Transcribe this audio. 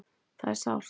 Það er sárt.